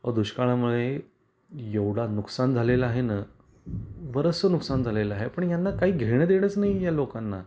अहो दुष्काळा मुळे एवढा नुकसान झालेल आहेना बरसच नुकसान झालेल आहे. पण यांना काही घेण देणच नाही आहे या लोकांना.